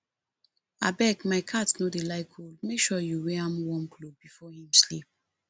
abeg my cat no dey like cold make sure you wear an warm cloth before im sleep